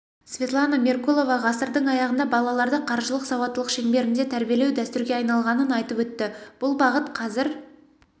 светлана меркулова ғасырдың аяғында балаларды қаржылық сауаттылық шеңберінде тәрибелеу дәстүрге айналғанын айтып өтті бұл бағыт қазір